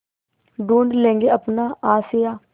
ढूँढ लेंगे अपना आशियाँ